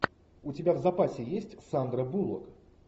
у тебя в запасе есть сандра буллок